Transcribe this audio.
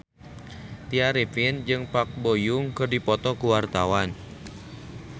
Tya Arifin jeung Park Bo Yung keur dipoto ku wartawan